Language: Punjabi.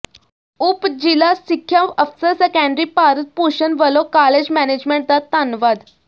ਉਪ ਜਿਲ੍ਹਾ ਸਿੱਖਿਆ ਅਫਸਰ ਸੈਕੰਡਰੀ ਭਾਰਤ ਭੂਸ਼ਨ ਵੱਲੋ ਕਾਲਜ਼ ਮੈਨੇਜਮੈਟ ਦਾ ਧੰਨਵਾਦ